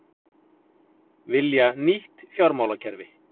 Vilja nýtt fjármálakerfi